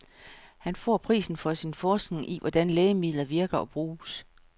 Han får prisen for sin forskning i, hvordan lægemidler virker og bruges.